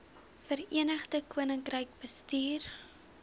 verenigde koninkryk bestuur